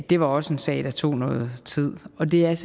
det var også en sag der tog noget tid og det er